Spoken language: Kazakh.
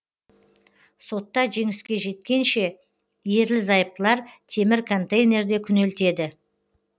сотта жеңіске жеткенше ерлі зайыптылар темір контейнерде күнелтеді